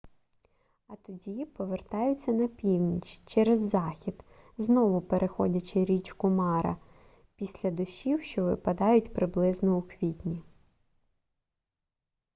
а тоді повертаються на північ через захід знову переходячи річку мара після дощів що випадають приблизно у квітні